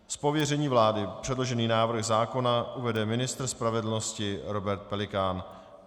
Z pověření vlády předložený návrh zákona uvede ministr spravedlnosti Robert Pelikán.